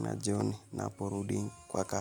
na jioni naporudi kwa ka.